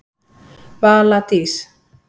Vala Dís.